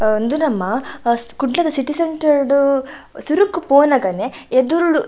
ಆ ಉಂದು ನಮ್ಮ ಅ ಕುಡ್ಲದ ಸಿಟಿ ಸೆಂಟರ್ಗ್ ಸುರುಕ್ಕು ಪೋನಗನೆ ಎದುರುಡು.